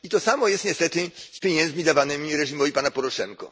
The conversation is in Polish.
To samo jest niestety z pieniędzmi dawanymi reżimowi pana Poroszenki.